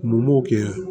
Numuw kɛ